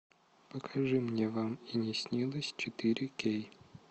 покажи мне вам и не снилось четыре кей